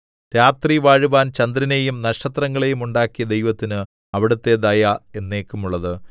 രാത്രി വാഴുവാൻ ചന്ദ്രനെയും നക്ഷത്രങ്ങളെയും ഉണ്ടാക്കിയ ദൈവത്തിന് അവിടുത്തെ ദയ എന്നേക്കുമുള്ളത്